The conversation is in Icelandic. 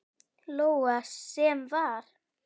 Lóa: Sem var?